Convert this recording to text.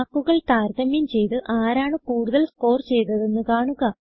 മാർക്കുകൾ താരതമ്യം ചെയ്ത് ആരാണ് കൂടുതൽ സ്കോർ ചെയ്തതെന്ന് കാണുക